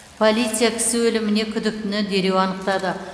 полиция кісі өліміне күдіктіні дереу анықтады